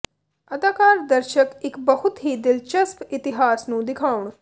ਅਦਾਕਾਰ ਦਰਸ਼ਕ ਇੱਕ ਬਹੁਤ ਹੀ ਦਿਲਚਸਪ ਇਤਿਹਾਸ ਨੂੰ ਦਿਖਾਉਣ